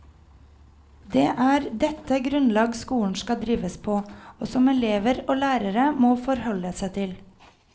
Det er dette grunnlag skolen skal drives på, og som elever og lærere må forholde seg til.